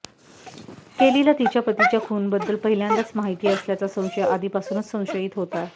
केलीला तिच्या पतीच्या खूनबद्दल पहिल्यांदाच माहिती असल्याचा संशय आधीपासूनच संशयित होता